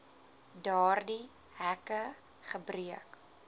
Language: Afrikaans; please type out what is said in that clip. daardie hekke gebreek